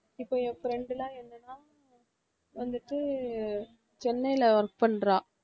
இப்ப என் friend லாம் என்னன்னா ஆஹ் வந்துட்டு சென்னைல work பண்றா